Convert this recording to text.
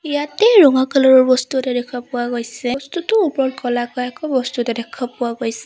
ইয়াতে ৰঙা কালাৰ ৰ বস্তু এটা দেখা পোৱা গৈছে বস্তুটোৰ ওপৰত কলাকৈ আকৌ বস্তু এটা দেখা পোৱা গৈছ --